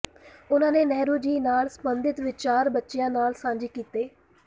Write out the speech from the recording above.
ਉਨ੍ਹਾਂ ਨੇ ਨਹਿਰੂ ਜੀ ਨਾਲ ਸੰਬੰਧਿਤ ਵਿਚਾਰ ਬੱਚਿਆਂ ਨਾਲ ਸਾਂਝੇ ਕੀਤੇ